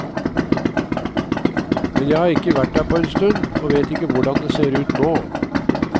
Men jeg har ikke vært der på en stund, og vet ikke hvordan det ser ut nå.